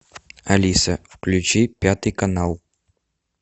алиса включи пятый канал